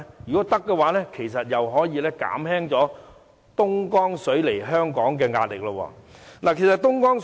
如果這是可行的，其實也可以減輕東江水供港的壓力。